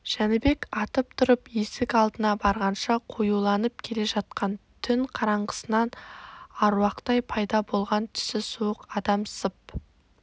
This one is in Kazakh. жәнібек атып тұрып есік алдына барғанша қоюланып келе жатқан түн қараңғысынан аруақтай пайда болған түсі суық адам сып